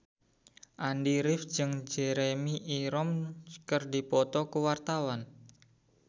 Andy rif jeung Jeremy Irons keur dipoto ku wartawan